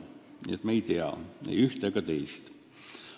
Nii et me ei tea ei ühte ega teist.